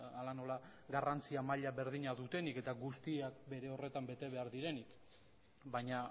hala nola garrantzia maila berdina dutenik eta guztiak bere horretan bete behar direnik baina